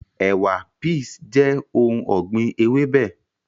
Ẹ̀wà(peas) jẹ́ ohun ọ̀gbìn ewébẹ̀